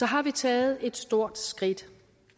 har vi taget et stort skridt